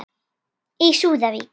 Í súðavík